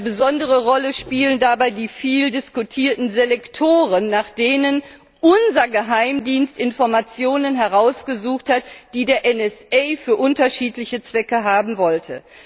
Eine besondere Rolle spielen dabei die viel diskutierten Selektoren, nach denen unser Geheimdienst Informationen herausgesucht hat, die die NSA für unterschiedliche Zwecke haben wollte.